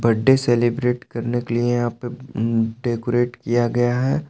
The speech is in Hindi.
बर्थडे सेलिब्रेट करने के लिए यहां पे ऊं डेकोरेट किया गया है।